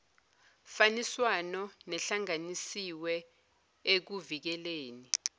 faniswano nehlanganisiwe ekuvikeleni